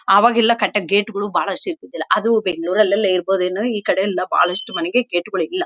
ಆವಾಗೆಲ್ಲಾ ಕಟ್ಟಕ್ಕೆ ಗೇಟ್ಗಳು ಅದು ಬೆಂಗಳೂರಲೆಲ್ಲಾಇರಬಹುದೇನೋ ಈ ಕಡೆ ಎಲ್ಲಾ ಬಹಳಷ್ಟು ಮನೆಗೆ ಗೇಟ್ಗಳು ಇಲ್ಲಾ .